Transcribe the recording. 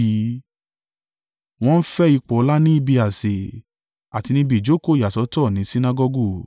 Wọ́n fẹ́ ipò ọlá ní ibi àsè, àti níbi ìjókòó ìyàsọ́tọ̀ ni Sinagọgu.